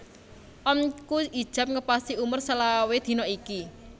Omku ijab ngepasi umur selawe dino iki